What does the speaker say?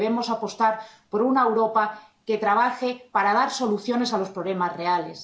debemos apostar por una Europa que trabaje para dar soluciones a los problemas reales.